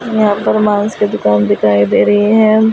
वहा पर मांस का दिखाई दे रही है।